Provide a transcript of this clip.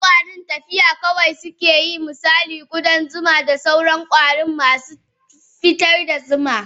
Wasu kwarin tafiya kawai suke yi misali kudan zuma da sauran kwari masu fitar da zuma.